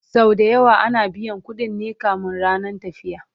Sau da yawa ana biyan ƙuɗin ne kamin rannan tafiya